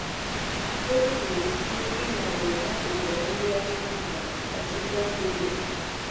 O kwuru sị, “Ịnọdụ n'akụkụ ndị ọcha bụ ọchịchọ zuru okè